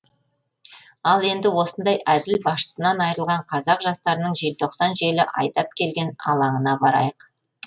ал енді осындай әділ басшысынан айырылған қазақ жастарының желтоқсан желі айдап келген алаңына барайық